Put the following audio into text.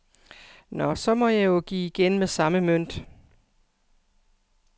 Nå, så må jeg jo give igen med samme mønt.